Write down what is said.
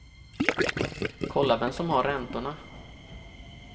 Kolla vem som har räntorna.